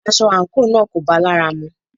Aṣọ àńkò náà kò bá lára mu